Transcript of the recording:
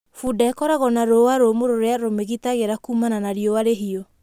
Bunda ĩkoragwo na rũũa rũmũ rũria rũmĩgitagĩra kuumana na riũwa rĩhiũ